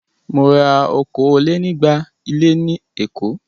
Mo ra okòó-lé-ní-igba ilé ní Èkó.